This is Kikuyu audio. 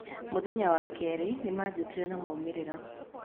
Muthenya wa kerĩ nĩ manjitire na maumĩrĩra